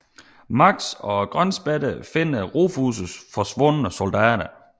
Max og Grønspætterne finder Rufus forsvundne soldater